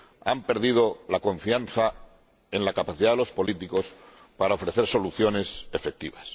han perdido la confianza en la capacidad de los políticos para ofrecer soluciones efectivas.